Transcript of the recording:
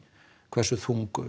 hversu þung